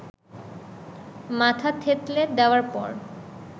মাথা থেতলে দেওয়ার পর